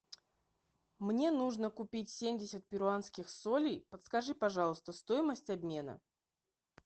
мне нужно купить семьдесят перуанских солей подскажи пожалуйста стоимость обмена